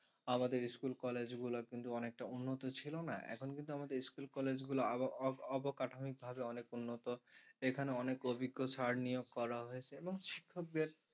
আমাদের school college গুলা অনেকটা উন্নত ছিল না এখন কিন্তু আমাদের school college আরো অবকাঠনিকভাবে অনেক উন্নত এখানে অনেক অভিজ্ঞ sir নিয়োগ করা হয়েছে এবং শিক্ষকদের